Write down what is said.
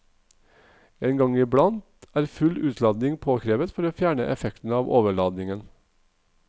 En gang i blant er full utlading påkrevet for å fjerne effekten av overladingen.